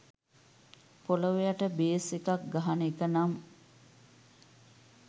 පොලොව යට බේස් එකක් ගහන එක නම්